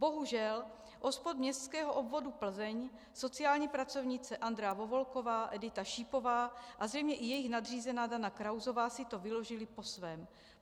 Bohužel, OSPOD městského obvodu Plzeň, sociální pracovnice Andrea Vovolková, Edita Šípová a zřejmě i jejich nadřízená Dana Krausová si to vyložily po svém.